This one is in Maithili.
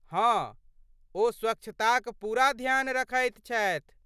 हँ, ओ स्वच्छताक पूरा ध्यान रखैत छथि।